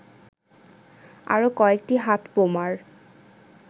আরো কয়েকটি হাতবোমার